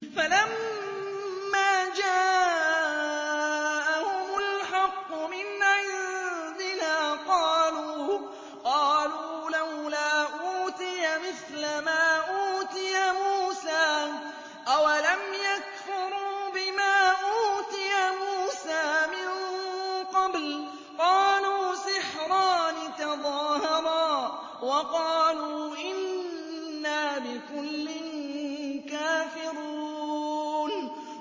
فَلَمَّا جَاءَهُمُ الْحَقُّ مِنْ عِندِنَا قَالُوا لَوْلَا أُوتِيَ مِثْلَ مَا أُوتِيَ مُوسَىٰ ۚ أَوَلَمْ يَكْفُرُوا بِمَا أُوتِيَ مُوسَىٰ مِن قَبْلُ ۖ قَالُوا سِحْرَانِ تَظَاهَرَا وَقَالُوا إِنَّا بِكُلٍّ كَافِرُونَ